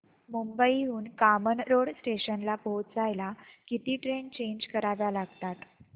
मुंबई हून कामन रोड स्टेशनला पोहचायला किती ट्रेन चेंज कराव्या लागतात